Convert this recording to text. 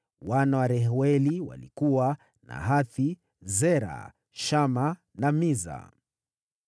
Wana wa Reueli walikuwa: Nahathi, Zera, Shama na Miza.